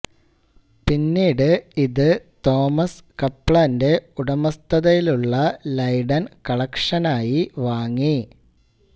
പിന്നീട് ഇത് തോമസ് കപ്ലാന്റെ ഉടമസ്ഥതയിലുള്ള ലൈഡൻ കളക്ഷനായി വാങ്ങി